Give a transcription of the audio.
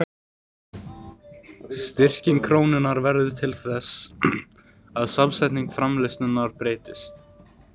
Styrking krónunnar verður því til þess að samsetning framleiðslunnar breytist.